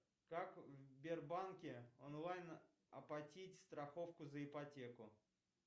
как в сбербанке онлайн оплатить страховку за ипотеку